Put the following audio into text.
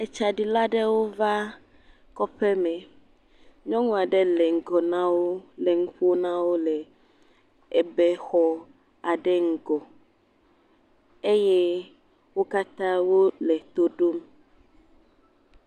Etsaɖila aɖewo va kɔƒe me. Nyɔnu aɖe le ŋgɔ nawò le nuƒom nawo le ebɛ ɖe ŋgɔ eye wò katã wòle to ɖom.